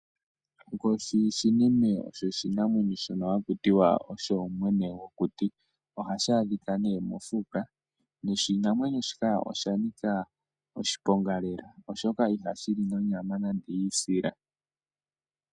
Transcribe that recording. Oonkoshi shinime osho oshinamwenyo shono haku tiwa osho mwene gokuti ohashi adhika ne mofuka noshinamwenyo shika oshanika oshiponga lela oshoka ihashi li nonyama nande yi isila.